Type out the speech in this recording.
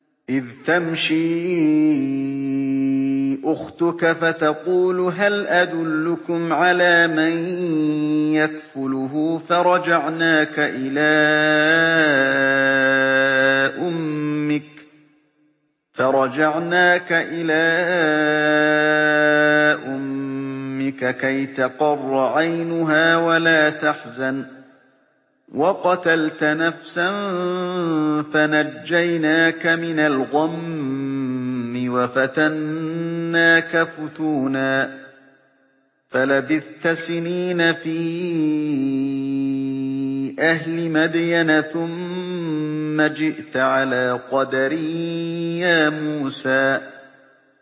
إِذْ تَمْشِي أُخْتُكَ فَتَقُولُ هَلْ أَدُلُّكُمْ عَلَىٰ مَن يَكْفُلُهُ ۖ فَرَجَعْنَاكَ إِلَىٰ أُمِّكَ كَيْ تَقَرَّ عَيْنُهَا وَلَا تَحْزَنَ ۚ وَقَتَلْتَ نَفْسًا فَنَجَّيْنَاكَ مِنَ الْغَمِّ وَفَتَنَّاكَ فُتُونًا ۚ فَلَبِثْتَ سِنِينَ فِي أَهْلِ مَدْيَنَ ثُمَّ جِئْتَ عَلَىٰ قَدَرٍ يَا مُوسَىٰ